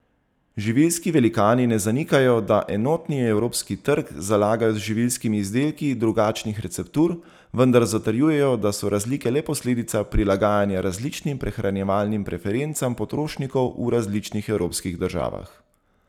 Živilski velikani ne zanikajo, da enotni evropski trg zalagajo z živilskimi izdelki drugačnih receptur, vendar zatrjujejo, da so razlike le posledica prilagajanja različnim prehranjevalnim preferencam potrošnikov v različnih evropskih državah.